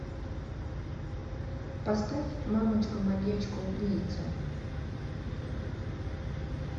поставь мамочка маньячка убийца